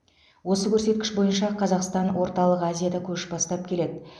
осы көрсеткіш бойынша қазақстан орталық азияда көш бастап келеді